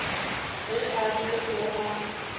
ge a re o a